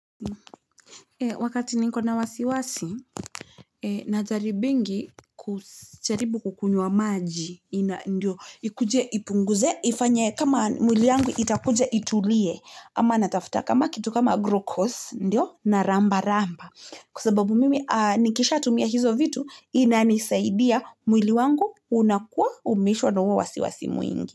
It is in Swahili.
Wakati nikona wasiwasi, najaribingi kujaribu kukunywa maji ikuje ipunguze, kama mwili wangu itakuje itulie ama natafutakama kitu kama glucose ndio nalambalamba kwasababu mimi nikisha tumia hizo vitu inanisaidia mwili wangu unakuwa umeishwa na huo wasiwasi mwingi.